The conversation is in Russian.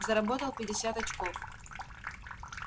заработал пятьдесят очков